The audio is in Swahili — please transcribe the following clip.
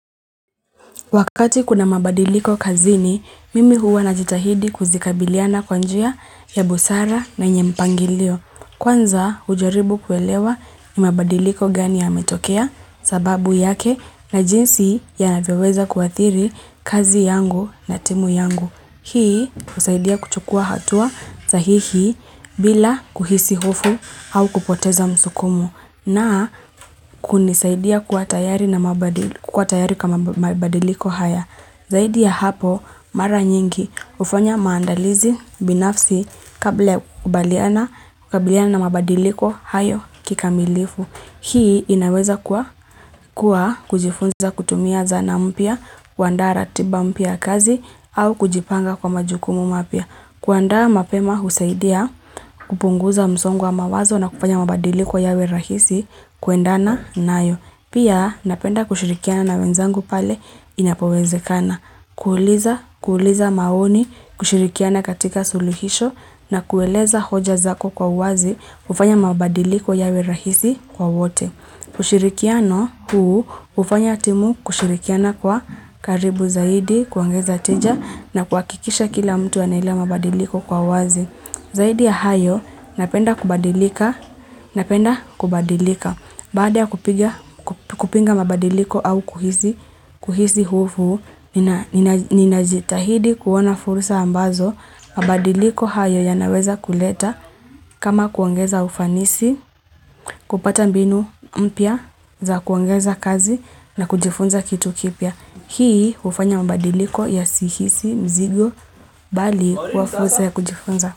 Wakati kuna mabandiliko kazini, mimi huwa najitahidi kuzikabiliana kwa njia ya busara na yenye mpangilio. Kwanza, hujaribu kuelewa ni mabadiliko gani yametokea sababu yake, na jinsi yanavyoweza kuadhiri kazi yangu na timu yangu. Hii, husaidia kuchukua hatua sahihi, bila kuhisi hofu au kupoteza msukumo. Na, kunisaidia kuwa tayari kama mabadiliko haya. Zaid ya hapo, mara nyingi hufanya maandalizi binafsi, kabla ya kukabiliana na mabadiliko hayo kikamilifu. Hii, inaweza kuwa kujifunza kutumia zana mpya, kuandaa ratiba mpya kazi, au kujipanga kwa majukumu mapya. Kuandaa mapema husaidia, kupunguza msongo wa mawazo na kufanya mabadiliko yawe rahisi kuendana nayo. Pia, napenda kushirikiana na wenzangu pale inapowezekana, kuuliza kuuliza maoni, kushirikiana katika suluhisho na kueleza hoja zako kwa uwazi, kufanya mabadiliko yawe rahisi kwa wote. Ushirikiano huu hufanya timu kushirikiana kwa karibu zaidi, kuongeza tija, na kuhakikisha kila mtu anaelewa mabadiliko kwa uwazi. Zaidi ya hayo, napenda kubadilika, napenda kubadilika, baada kupinga mabadiliko au kuhisi hofu, ninajitahidi kuona fursa ambazo, mabadiliko hayo yanaweza kuleta, kama kuongeza ufanisi, kupata mbinu mpya za kuongeza kazi, na kujifunza kitu kipya. Hii hufanya mabadiliko yasihisi mzigo, mbali kwa fursa ya kujifunza.